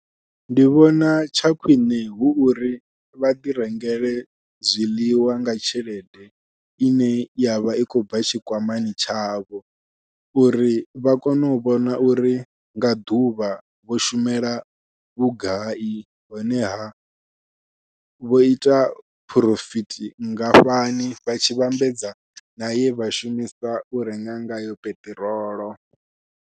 Ndi vhona tsha khwiṋe hu uri vha ḓi rengele zwiḽiwa nga tshelede ine yavha i khou bva tshikwamani tshavho uri vha kone u vhona uri nga ḓuvha vho shumela vhugai, honeha vho ita phurofiti vhungafhani vha tshi vhambedza naye vha shumisa u renga ngayo peṱirolo.